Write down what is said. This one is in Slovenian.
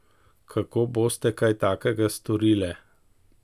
Kako boste kaj takega storile?